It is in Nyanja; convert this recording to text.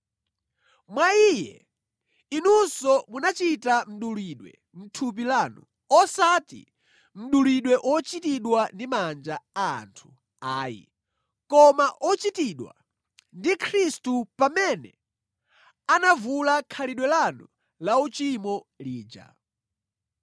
Mwa Iye inunso munachita mdulidwe mʼthupi lanu, osati mdulidwe ochitidwa ndi manja a anthu ayi, koma ochitidwa ndi Khristu pamene anavula khalidwe lanu lauchimo lija.